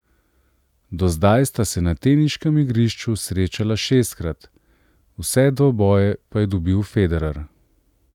Do zdaj sta se na teniškem igrišču srečala šestkrat , vse dvoboje pa je dobil Federer.